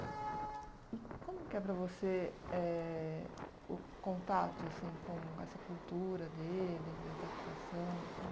E como que é para você eh o contato assim com essa cultura deles, a adaptação?